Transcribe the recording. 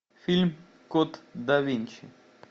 фильм код да винчи